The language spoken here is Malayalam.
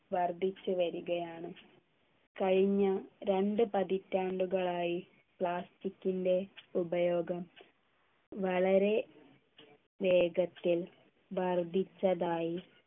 വർദ്ധിച്ചു വരികയാണ് കഴിഞ്ഞ രണ്ടു പതിറ്റാണ്ടുകളായി plastic ൻ്റെ ഉപയോഗം വളരെ വേഗത്തിൽ വർദ്ധിച്ചതായി